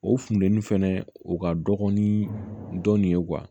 O funtɛni fɛnɛ u ka dɔgɔn ni dɔɔnin ye